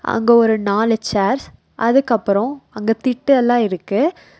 அங்க ஒரு நாலு சேர்ஸ் அதுக்கப்புறோ அங்க திட்டு எல்லா இருக்கு.